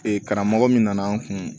Ee karamɔgɔ min nana n kun